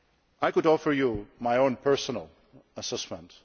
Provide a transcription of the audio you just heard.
I could offer you my own personal assessment.